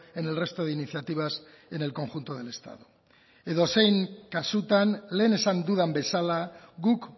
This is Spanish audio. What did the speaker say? en el resto de iniciativas en el conjunto del estado edozein kasutan lehen esan dudan bezala guk